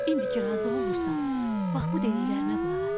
İndi ki razı olmursan, bax bu dediklərimə qulaq as.